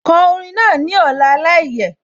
Ko orin náà ní ọ̀la láìyẹ̀